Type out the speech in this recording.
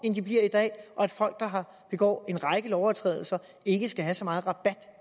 de bliver i dag og at folk der begår en række overtrædelser ikke skal have så meget rabat